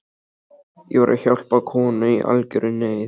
Ég var að hjálpa konu í algjörri neyð.